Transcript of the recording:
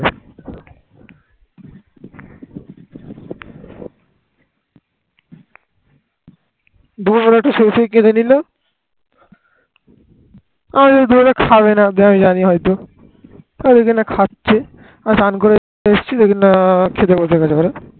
আমি স্নান করে এসেছি দেখছি না খেতে বসে গেছে ঘরে।